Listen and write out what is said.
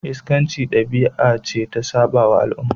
Iskanci dabi'a ce da ta sabawa al'umma.